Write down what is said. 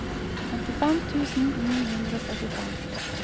femtifem tusen ni hundre og trettifem